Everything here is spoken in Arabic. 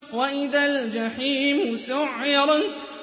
وَإِذَا الْجَحِيمُ سُعِّرَتْ